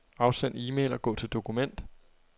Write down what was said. Afsend e-mail og gå til dokument.